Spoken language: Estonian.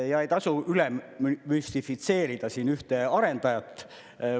Ja ei tasu üle müstifitseerida siin ühte arendajat.